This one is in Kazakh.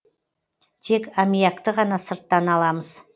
тек амиакты ғана сырттан аламыз